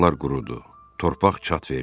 Bulaqlar qurudu, torpaq çat verdi.